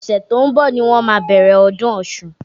Ọ̀sẹ̀ t'ó ń bọ̀ ni wọ́n má a bẹ̀rẹ̀ ọdún Ọ̀ṣun.